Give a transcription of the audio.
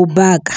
u baka.